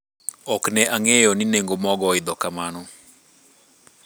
ok ne angeyo ni nengo mogo oidho kamano